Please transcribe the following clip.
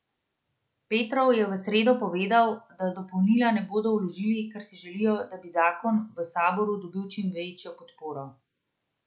Petrov je v sredo povedal, da dopolnila ne bodo vložili, ker si želijo, da bi zakon v saboru dobil čim večjo podporo.